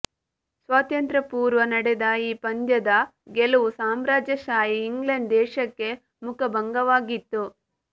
ಸ್ವಾತಂತ್ರ್ಯ ಪೂರ್ವ ನಡೆದ ಈ ಪಂದ್ಯದ ಗೆಲುವು ಸಾಮ್ರಾಜ್ಯಶಾಹಿ ಇಂಗ್ಲೆಂಡ್ ದೇಶಕ್ಕೆ ಮುಖಭಂಗವಾಗಿತ್ತು